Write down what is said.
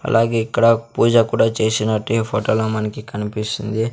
అలాగే ఇక్కడ పూజ కూడా చేసినట్టే ఫోటోలో మనకి కనిపిస్తుంది.